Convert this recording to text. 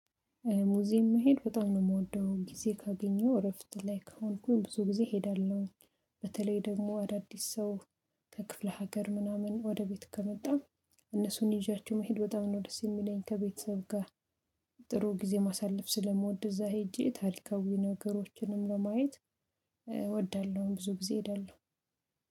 ሙዚም መሄድ በጣም ነው የምወደው ጊዜ ካገኘው እረፍት ላይ ከሆንኩኝ ብዙ ጊዜ እሄዳለሁ። በተለይ ደግሞ አዳዲስ ሰው ከክፍለ ሀገር ምናምን ወደ ቤት ከመጣ። እነሱን ይዣችሁ መሄድ በጣም ነው ደስ የሚለኝ ከቤተሰብ ጋር። ጥሩ ጊዜ ማሳለፍ ስለምወድ እዛ ሄጄ ታሪካዊ የፈነገሮችንም ለማየት እወዳለሁ። ብዙ ጊዜ ሄዳለሁ።